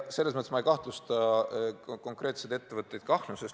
Ma ei kahtlusta konkreetseid ettevõtteid ahnuses.